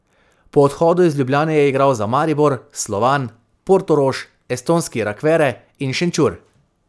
Po odhodu iz Ljubljane je igral za Maribor, Slovan, Portorož, estonski Rakvere in Šenčur.